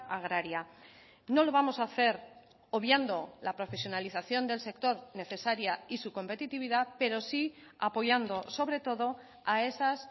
agraria no lo vamos a hacer obviando la profesionalización del sector necesaria y su competitividad pero sí apoyando sobre todo a esas